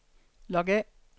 log af